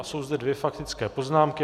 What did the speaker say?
A jsou zde dvě faktické poznámky.